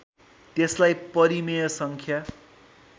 त्यसलाई परिमेय सङ्ख्या